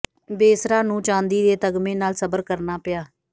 ਬੇਸਰਾ ਨੂੰ ਚਾਂਦੀ ਦੇ ਤਗਮੇ ਨਾਲ ਸਬਰ ਕਰਨਾ ਪਿਆ